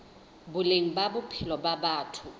boleng ba bophelo ba batho